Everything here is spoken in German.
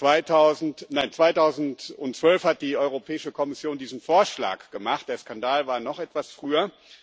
nein, 2012 hat die Europäische Kommission diesen Vorschlag gemacht, der Skandal war noch etwas früher.